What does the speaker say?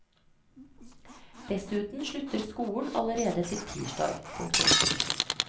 Dessuten slutter skolen allerede til tirsdag. punktum